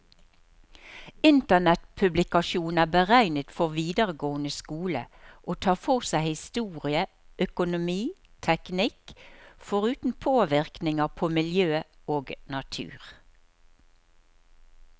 Internettpublikasjonen er beregnet for videregående skole, og tar for seg historie, økonomi, teknikk, foruten påvirkninger på miljø og natur.